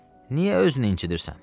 Niyə özünü incdirsən?